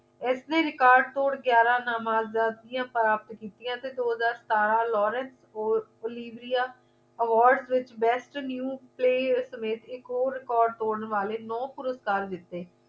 ਇਸ ਨੇ record ਤੋੜ ਗਿਆਰਾਂ ਨਾਮਜ਼ਦ ਪ੍ਰਾਪਤ ਕੀਤੀਆਂ ਦੋ ਹਜ਼ਾਰ ਸਤਾਰਾਂ laurence olivierea award ਦੇਹ ਵਿਚ best new play ਸਮੇਤ ਇਕ ਹੋਰ record ਤੋੜਨ ਵਾਲੇ ਨੌ ਪੁਰਸਕਾਰ ਜਿੱਤੇ